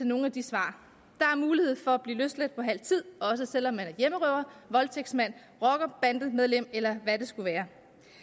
nogen af de svar der er mulighed for at blive løsladt efter halv tid også selv om man er hjemmerøver voldtægtsmand rockerbandemedlem eller hvad det skulle være